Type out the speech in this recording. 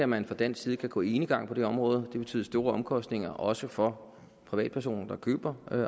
man fra dansk side kan gå enegang på det her område det betyder store omkostninger også for privatpersoner der køber